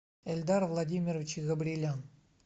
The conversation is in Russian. эльдар владимирович изобрелян